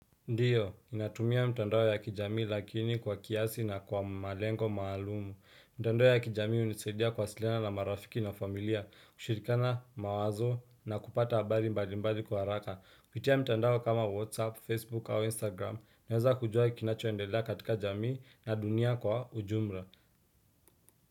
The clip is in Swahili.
Ndiyo, ninatumia mitandao ya kijamii lakini kwa kiasi na kwa malengo maalumu. Mitandao ya kijamii hunisaidia kuwasiliana na marafiki na familia, kushirikiana mawazo na kupata habari mbalimbali kwa haraka. Kupitia mitandao kama Whatsapp, Facebook au Instagram, naweza kujua kinachoendela katika jamii na dunia kwa ujumla.